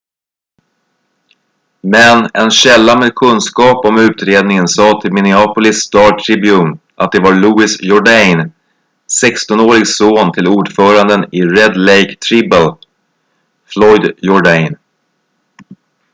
men en källa med kunskap om utredningen sa till minneapolis star-tribune att det var louis jourdain 16-årig son till ordföranden i red lake tribal floyd jourdain